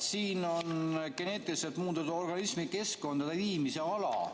Siin on geneetiliselt muundatud organismi keskkonda viimise ala.